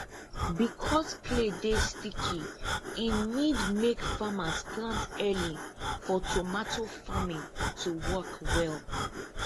because clay dey sticky e need make farmers plant early for tomato farming to work well